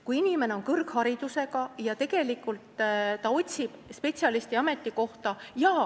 Kui inimene on kõrgharidusega, siis ta otsib spetsialisti ametikohta.